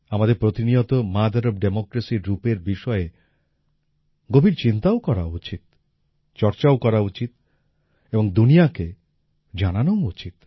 আমাদের প্রতিনিয়ত mother of democracyর রূপের বিষয়ে গভীর চিন্তাও করা উচিত চর্চাও করা উচিত এবং দুনিয়াকে জানানোও উচিত